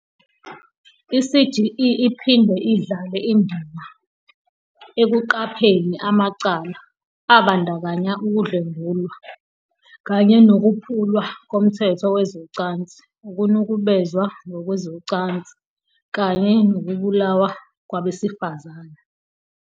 "I-CGE iphinde idlale indima ekuqapheni amacala, abandakanya ukudlwengulwa kanye nokuphulwa komthetho wezocansi, ukunukubezwa ngokwezocansi kanye nokubulawa kwabesifazane."